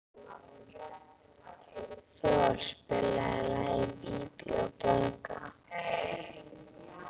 Thor, spilaðu lagið „Bí bí og blaka“.